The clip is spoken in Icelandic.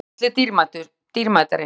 Dyggð er gulli dýrmætari.